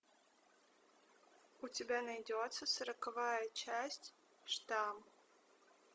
у тебя найдется сороковая часть штамм